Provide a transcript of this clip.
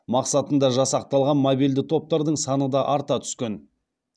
мақсатында жасақталған мобильді топтардың саны да арта түскен